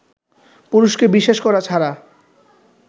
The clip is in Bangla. পুরুষকে বিশ্বাস করা ছাড়া